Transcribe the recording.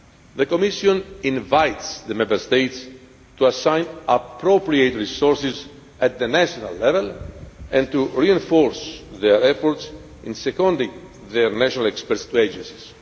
The Commission invites the Member States to assign appropriate resources at the national level and to reinforce their efforts in seconding their national experts to agencies.